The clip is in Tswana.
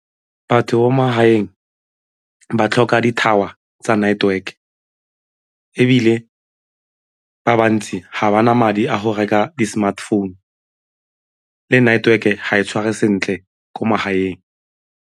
Batho magaeng ba tlhoka di-tower tsa network ebile ba bantsi ga ba na madi a go reka di-smartphone le network-e ga e tshware sentle ko magaeng.